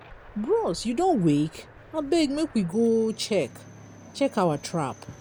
bros you don wake? abeg make we go check check our trap.